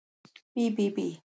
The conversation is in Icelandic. Bí bí bí!